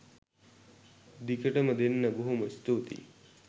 දිගටම දෙන්න බොහොම ස්තූතියි